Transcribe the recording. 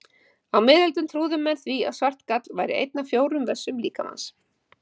Á miðöldum trúðu menn því að svart gall væri einn af fjórum vessum líkamans.